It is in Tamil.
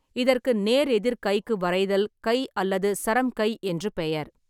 இதற்கு நேர் எதிர் கைக்கு வரைதல் கை அல்லது சரம் கை என்று பெயர்.